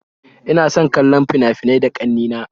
Ina son kallon fina-finai da ƙanne na